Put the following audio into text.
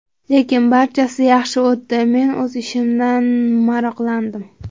Lekin barchasi yaxshi o‘tdi, men o‘z ishimdan maroqlandim.